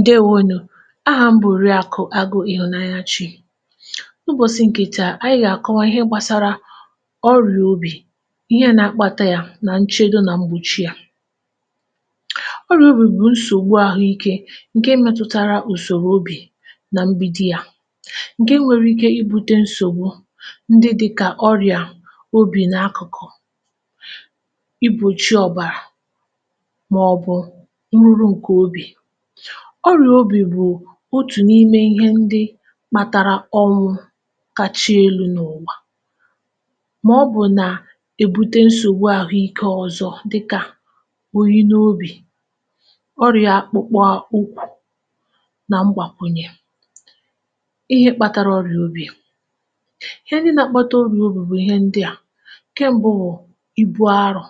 ǹdèwo nù. ahà m bụ̀ Òriàkụ̀ Agụ̄ Ịhụ̀nanyachī. ụbọ̀sị ǹkè taà, anyị gà àkọwa ịhẹ gbasara ọrị̀à obì, ihe na akpata ya, nà nchẹdo nà mgbòchi ya. ọrị̀à obì bụ̀ nsògbu ahụ ike, ǹke metutara ùsòrò obì, na mbido ya, ǹke nwere I bute nsògbu, ihe dịkà obì n’akụ̀kụ̀ ibūchi ọ̀bàrà, mà ọ̀ bụ̀ urū ǹkè obì. ọrị̀ā obì bụ̀ otù n’ime ihe ndị kpatara ọnwụ̄ kacha elū n’ụ̀wà, mà ọ bụ nà e bute nsògbu dị n’ ụ̀wà, dịkà oyi n’obì, ọyà akpụkpụ akpụ, nà mgbàkwunyẹ. ịhẹ kpatara ọrị̀à obì. ịhẹ ndị na akpata ọrị̀à obì bụ̀ ihe ndịà. ǹkẹ mbụ bụ̀ ibu arọ̄.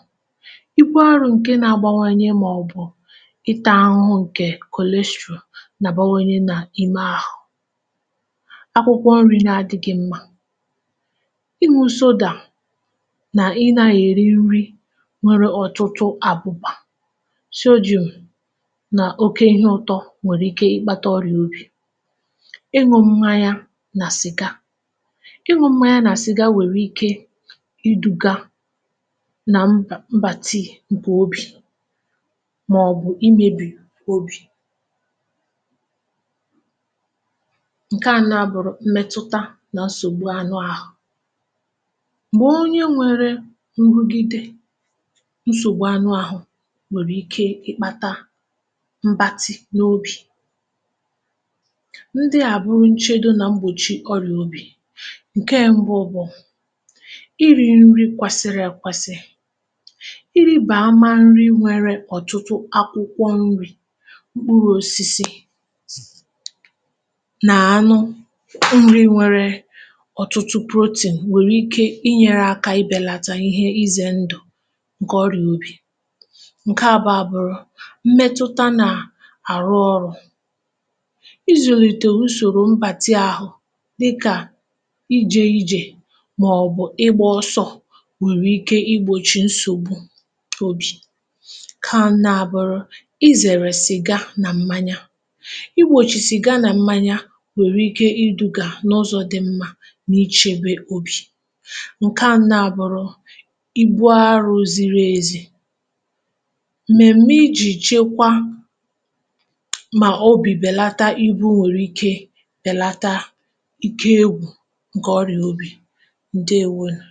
ibu arọ̄ ǹke na abawanye mà ọ̀ bụ̀ ịtā ahụhụ ǹke cholesterol nà àbawanye nà ime ahụ. akwụkwọ nrī na adịghị mma. ịnwụ̄ sodà nà ịnà èri nri nwẹrẹ ọ̀tụtụ àbụ̀bà, sodium, nà oke ịhẹ ụtọ nwèrè ike ị kpata ọrịà obì. ịnwụ̄ mmanya nà cị̀ga. ịnwụ̄ mmanya nà cị̀ga nwèrè ike I dūga na mbàti ǹkè obì, mà ọ̀ bụ̀ imēbì obì, ǹke a nà àbụrụ mmẹtụta ǹkẹ̀ nsògbu obì. m̀gbè onye nwẹrẹ nrugide ǹkẹ̀ nsògbu anụ ahụ nwèrè ike ị kpata mbati na obì. ndịà bụ nchẹdo nà mgbòchi ọrị̀à obì. ǹkẹ mbụ bụ, irī nri kwẹsịrị ekwesị. irībàama nri nwẹrẹ ọ̀tụtụ akwụkwọ nrī mkpurū osisis, nà anụ ndị nwẹrẹ ọ̀tụtụ protein nwèrè ike ị bẹlata ihe ịzẹ̀ ndụ̀ ǹkẹ ̀ ọrịà obì. ǹkẹ àbụ̀ọ a bụrụ, mmẹtụta nà àrụ ọ̄rụ̄, izùlite usòrò mbati ahụ, dịkà ijē ijè, mà ọ̀ bụ̀ ịgbā ọsọ nwèrè ike I gbòchì nsògbu obì. ǹkẹ anọ bụ̀ ịzẹ̀rẹ̀ cị̀ga na mmanya. igbòchì cị̀ga na mmanya nwèrè ike ị dụga n’ụzọ dị mmā na ịchebe obì. ǹkẹ anọ a bụrụ, ibu arọ̄ ziri ezi. mmẹ̀m̀mẹ ijì chekwa mà obì bẹ̀lata ibū nwerè ike bẹ̀lata ike egwū ǹkè obì, ǹkẹ ̀ ọrịà obì. ǹdèwonù.